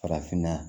Farafinna